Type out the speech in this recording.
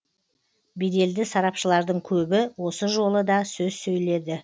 беделді сарапшылардың көбі осы жолы да сөз сөйледі